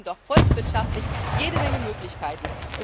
Wir verschenken doch volkswirtschaftlich jede Menge Möglichkeiten.